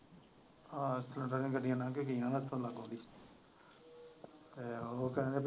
ਆਹ cylinder ਦੀਆਂ ਗੱਡੀਆਂ ਵੱਡੀਆਂ ਹੱਸਣ ਲੱਗ ਪਈ ਉਹ ਸਮਝ।